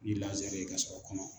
Ni ye k'a sɔgɔ kɔnɔ